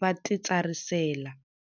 va titsarisela.